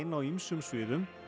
á ýmsum sviðum